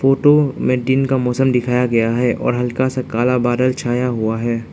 To मेटीन का मौसम दिखाया गया है और हल्का सा काला बादल छाया हुआ है।